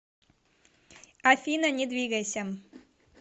афина не двигайся